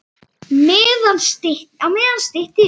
Á meðan stytti upp.